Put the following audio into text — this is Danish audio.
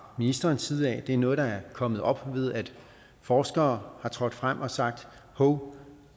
ministerens side det er noget der er kommet op ved at forskere er trådt frem og har sagt hov